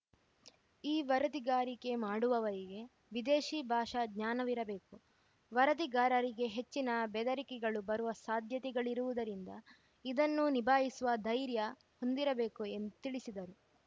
ಈ ವರದಿಗಾರಿಕೆ ಮಾಡುವವರಿಗೆ ವಿದೇಶಿ ಭಾಷಾ ಜ್ಞಾನವಿರಬೇಕು ವರದಿಗಾರರಿಗೆ ಹೆಚ್ಚಿನ ಬೆದರಿಕೆಗಳು ಬರುವ ಸಾಧ್ಯತೆಗಳಿರುವುದರಿಂದ ಇದನ್ನು ನಿಭಾಯಿಸುವ ಧೈರ್ಯ ಹೊಂದಿರಬೇಕು ಎಂದು ತಿಳಿಸಿದರು